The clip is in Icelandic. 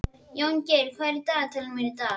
Jóngeir, hvað er á dagatalinu mínu í dag?